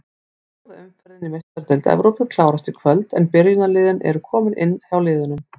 Fjórða umferðin í Meistaradeild Evrópu klárast í kvöld en byrjunarliðin eru komin inn hjá liðunum.